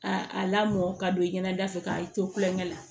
A a lamɔ ka don i ɲɛna da fɛ k'a to kulonkɛ la